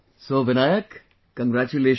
So Vinayak, congratulations